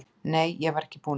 Nei, ég var ekki búin að því.